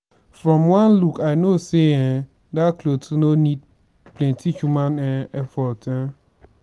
from one look i know say um dat cloth no need plenty human um effort um